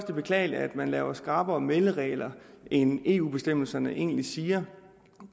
det beklageligt at man laver skrappere melderegler end eu bestemmelserne egentlig siger